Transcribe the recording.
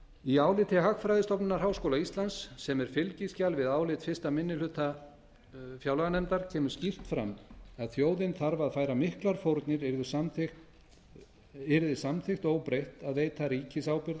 í áliti hagfræðistofnunar háskóla íslands sem er fylgiskjal við álit fyrsti minni hluta fjárlaganefndar kemur skýrt fram að þjóðin þarf að færa miklar fórnir yrði samþykkt óbreytt að veita ríkisábyrgð